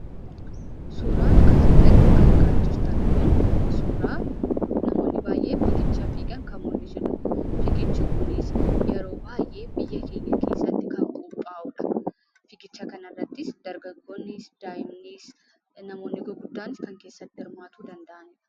Suuraan asi gadi argaa jirtan kun, suuraa namoonni baay'een figicha fiiga jiran kan mul'isudha. figichi kunis yeroo baay'ee biyya keenya keessatti kan qopha'uudha. figicha kanarrattis dargaggoonni, daa'amnis, namoonni gurguddan kan keessatti hirmaachuu danda'anidha.